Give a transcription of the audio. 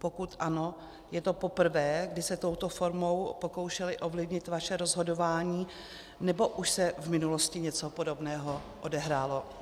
Pokud ano, je to poprvé, kdy se touto formou pokoušeli ovlivnit vaše rozhodování, nebo už se v minulosti něco podobného odehrálo?